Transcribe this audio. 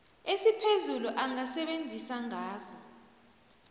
esiphezulu angasebenzisa ngazo